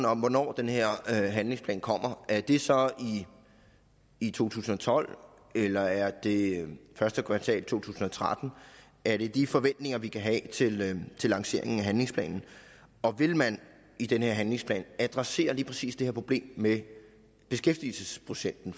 om hvornår den her handlingsplan kommer er det så i to tusind og tolv eller er det i første kvartal af 2013 er det de forventninger vi kan have til til lanceringen af handlingsplanen vil man i den her handlingsplan adressere lige præcis det her problem med beskæftigelsesprocenten